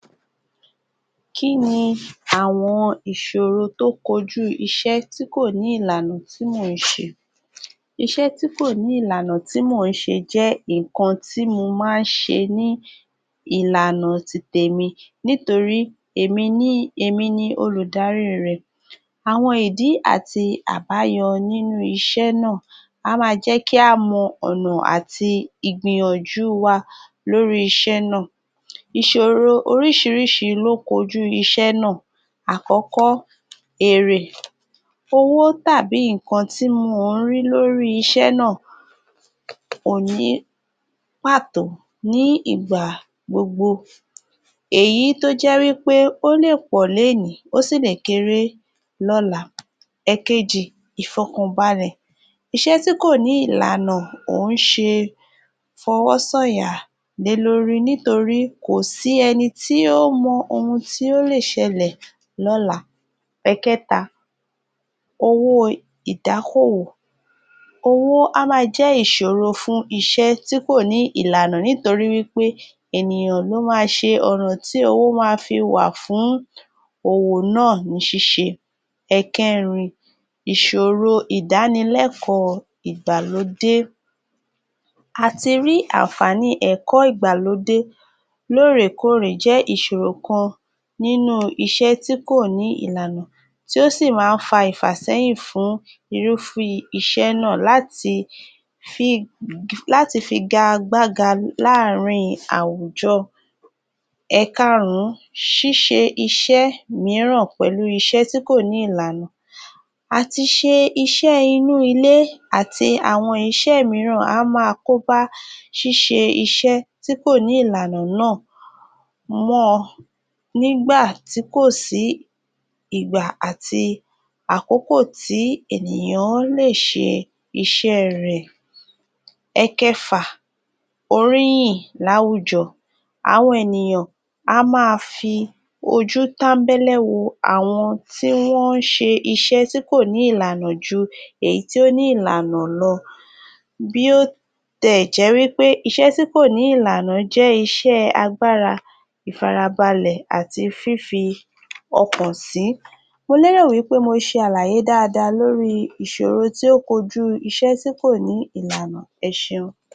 Kínì àwọn ìṣòro tó koju iṣẹ́ tí kò ní ìlànà tí mo ń ṣe. Ìṣẹ́ tí kò ní ìlànà tí mo ń ṣe jẹ́ nkan tí mo máa ń ṣe ní ìlànà títẹ̀mí nítorí èmi ni, èmi ni olùdárí rẹ̀. Àwọn ìdí àti àbáyo nínú iṣẹ́ náà á má jẹ́ kí a mọ̀ ọ̀nà àti ìgbìyànjú wa lórí iṣẹ́ náà. Ìṣòro oríṣìíríṣìí ló koju iṣẹ́ náà. Àkọ́kọ́, Èrè. Owó tàbí nkan tí mo ń rí lórí iṣẹ́ náà kò ní pátó nígbà gbogbo. Èyí toje wípé ó lè pọ̀ lé ní ó sì lè kéré. Lọ́lá. Èkejì, ìfọkànbalẹ̀. Ìṣẹ́ tí kò ní ìlànà, ó ń ṣe fọ́wọ́ sáyà lẹ́ lórí nítorí kòsí ẹni tí ó mọ ohun tí ó lè ṣẹlẹ̀. Lọ́lá. Pẹ̀kẹta, owó ìdákọ́wọ́. Owó á má jẹ́ ìṣòro fún iṣẹ́ tí kò ní ìlànà nítorí wípé ènìyàn ló máa ṣe ọ̀nà tí owó máa fi wá fún owó náà níṣìṣẹ́. Èkèrin, ìṣòro ìdánilẹ́kọ̀ọ́ ìgbàlódé. A ti rí ànfàní ẹ̀kọ́ ìgbàlódé lọ́rẹkọrẹ jẹ́ ìṣòro kan nínú iṣẹ́ tí kò ní ìlànà tí ó sì máa ń fà ìfàsẹ̀yìn fún irúfẹ́ iṣẹ́ náà láti fi, láti fi igàgbàga láàárín àwùjọ. Èkàrùn, ṣíṣe iṣẹ́ míìrán pẹ̀lú iṣẹ́ tí kò ní ìlànà. A ti ṣe iṣẹ́ inú ilé àti àwọn iṣẹ́ míìrán á máa kọ́ ba ṣíṣe iṣẹ́ tí kò ní ìlànà náà mọ́ nígbà tí kò sí igba àti àkókò tí ènìyàn lè ṣe iṣẹ́ rẹ̀. Èkẹfà, Oríyìn lÁwùjọ. Àwọn ènìyàn, a máa fi ojútẹ̀mbẹ̀lù wo àwọn tí wọ́n ṣe iṣẹ́ tí kò ní ìlànà jù yí ti ò nì ílànà lọ. Bí ó tilẹ̀ jẹ́ wípé iṣẹ́ tí kò ní ìlànà jẹ́ iṣẹ́ agbára, ìfarabalẹ̀ àti fìfọ́ọkàn sí. Mo lérò wípé mo ṣe àlàyé dáadáa lórí iṣòrò tí ọkọ́jú iṣẹ́ tí kò ní ìlànà. Ẹ ṣéun.